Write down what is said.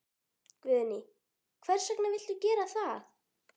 Guðný: Hvers vegna viltu gera það?